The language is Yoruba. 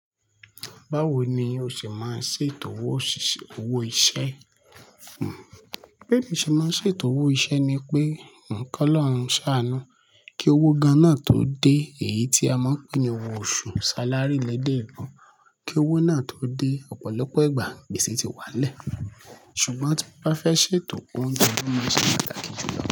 Báwo ni o ṣe máa ṣe tòwó òṣìṣẹ́ owó iṣẹ́? Bí mi ṣe máa ṣe tòwó iṣẹ́ ni pé, kọ́ lọ́run sànu kí owó gan-an náà tó dé, èyí tí a mọ̀ pé ní owó oṣù salary lẹ́dẹ̀ ebo, kí owó náà tó dé ọ̀pọ̀lọpọ̀ ìgbà gbèsè ti wà n lẹ́, ṣùgbọ́n tí mo bá fẹ́ ṣètò ounje wọ́n máa ṣe pàtàkì jùlọ.